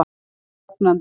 Ég er ógnandi.